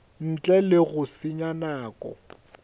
ntle le go senya nako